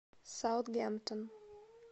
саутгемптон